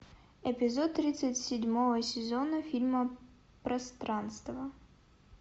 эпизод тридцать седьмого сезона фильма пространство